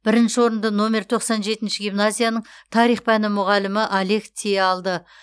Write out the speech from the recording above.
бірінші орынды номер тоқсан жетінші гимназияның тарих пәні мұғалімі олег ти алды